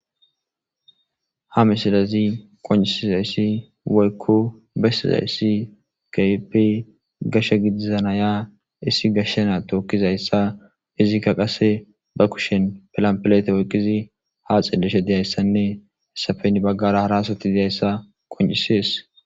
Ha misilez qoncisizays woyko bedizays keehippe gashe gidiza Naya issi gashe nashe na tookizaysa izka qase ba kushen pilampile oykid ha xeelishe dizaysanne hesappe heni bagara hara asati dizaysa qoncisesi.